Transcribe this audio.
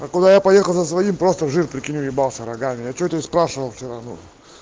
а куда я поехал на свою просто в жир уебался рогами а что ты спрашивал все равно